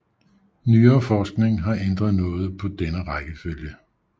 Nyere forskning har ændret noget på denne rækkefølge